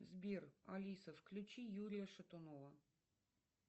сбер алиса включи юрия шатунова